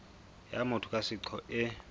ya motho ka seqo e